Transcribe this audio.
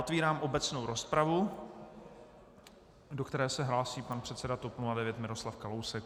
Otvírám obecnou rozpravu, do které se hlásí pan předseda TOP 09 Miroslav Kalousek.